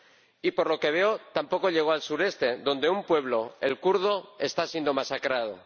Y por lo que veo, tampoco llegó al sureste, donde un pueblo, el kurdo, está siendo masacrado.